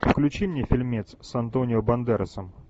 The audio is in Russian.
включи мне фильмец с антонио бандерасом